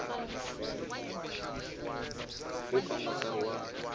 wo ka wu nga tsariwangi